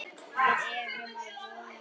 Við erum að vona það.